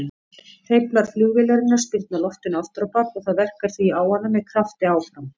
Hreyflar flugvélarinnar spyrna loftinu afturábak og það verkar því á hana með krafti áfram.